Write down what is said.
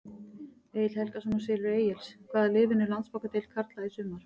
Egill Helgason úr Silfri Egils Hvaða lið vinnur Landsbankadeild karla í sumar?